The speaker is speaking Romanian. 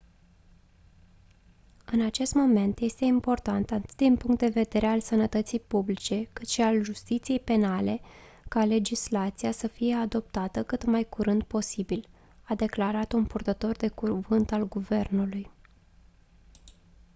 în acest moment este important atât din punct de vedere al sănătății publice cât și al justiției penale ca legislația să fie adoptată cât mai curând posibil a declarat un purtător de cuvânt al guvernului